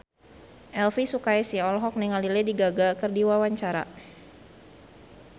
Elvi Sukaesih olohok ningali Lady Gaga keur diwawancara